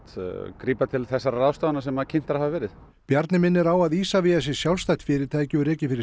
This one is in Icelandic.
grípa til þessara ráðstafana sem að kynntar hafa verið Bjarni minnir á að Isavia sé sjálfstætt fyrirtæki og rekið fyrir